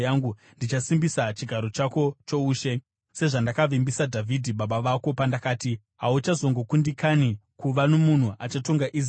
ndichasimbisa chigaro chako choushe, sezvandakavimbisa Dhavhidhi baba vako pandakati, ‘Hauchazongokundikani kuva nomunhu achatonga Israeri.’